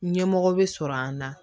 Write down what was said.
Ɲɛmɔgɔ bɛ sɔrɔ an na